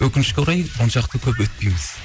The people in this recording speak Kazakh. өкінішке орай оншалықты көп өтпейміз